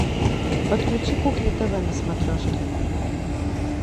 подключи кухня тв на смотрешке